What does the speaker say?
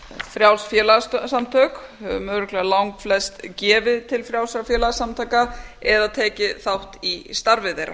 frjáls félagasamtök við höfum örugglega langflest gefið til frjálsra félagasamtaka eða tekið þátt í starfi þeirra